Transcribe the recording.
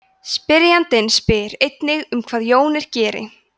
spyrjandinn spyr einnig um hvað jónir geri